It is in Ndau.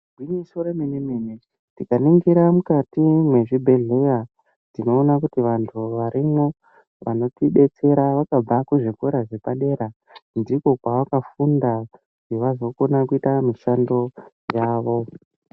Igwinyiso remene-mene, tikaningira mukati mwezvibhedheya, tinoona kuti vantu varimwo ,vanotidetsera vakabva kuzvikora zvepadera .Ndikwo kwavakafunda, kuti vazokona kuita mushando yavo.